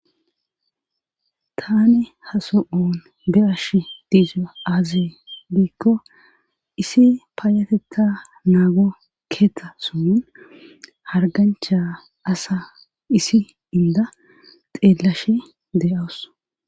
Tani haso7on berash diiza aazi diikko isi paayatetta naago keeta sun hargancha asa isi inda xeellashe de7awus